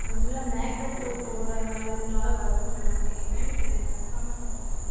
அது full ஆ, makeup போட்டு போடறதுனால, இதனால வருதுன்னு சொன்னாங்க. என்னன்னு, எனக்கு confirm ஆ தெரியலே.